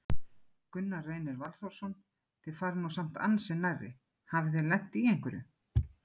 Gunnar Reynir Valþórsson: Þið farið nú samt ansi nærri, hafið þið lent í einhverju?